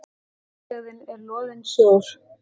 Útlegðin er loðinn sjór.